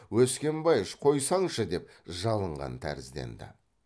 өскенбайыш қойсаңшы деп жалынған тәрізденді